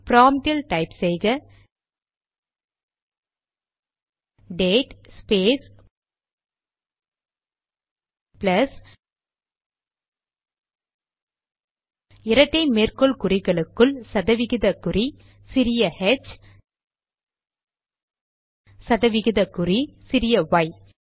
ப்ராம்ட்டில் type செய்க date space plus இரட்டை மேற்கோள் குறிகளுக்குள் சதவிகித குறி சிறிய ஹெச் சதவிகிதக்குறி சிறிய ஒய்